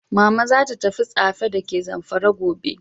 Mama zata tafi Tsafe dake zamfara gobe.